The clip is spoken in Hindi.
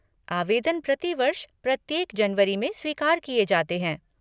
आवेदन प्रतिवर्ष प्रत्येक जनवरी में स्वीकार किए जाते हैं।